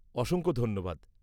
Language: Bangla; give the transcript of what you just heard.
-অসংখ্য ধন্যবাদ।